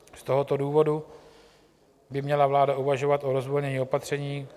Z tohoto důvodu by měla vláda uvažovat o rozvolnění opatření.